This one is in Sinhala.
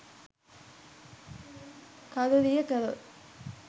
කළුරිය කළොත්